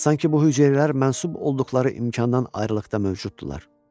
Sanki bu hüceyrələr mənsub olduqları imkandan ayrıqlıqda mövcuddurlar.